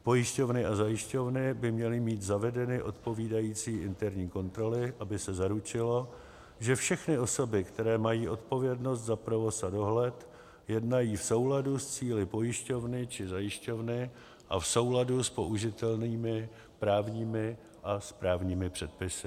Pojišťovny a zajišťovny by měly mít zavedeny odpovídající interní kontroly, aby se zaručilo, že všechny osoby, které mají odpovědnost za provoz a dohled, jednají v souladu s cíli pojišťovny či zajišťovny a v souladu s použitelnými právními a správními předpisy.